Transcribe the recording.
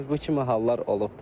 Bu kimi hallar olubdur.